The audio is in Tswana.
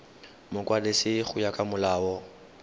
mokwadisi go ya ka molao